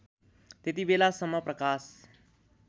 त्यति बेलासम्म प्रकाश